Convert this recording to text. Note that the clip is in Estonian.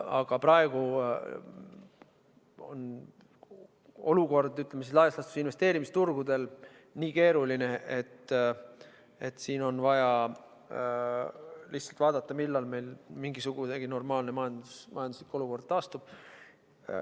Aga praegu on olukord investeerimisturgudel, ütleme, laias laastus nii keeruline, et siin on vaja lihtsalt vaadata, millal meil mingisugunegi normaalne majanduslik olukord taastub.